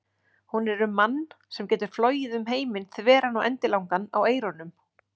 Hún er um mann sem getur flogið um heiminn þveran og endilangan á eyrunum.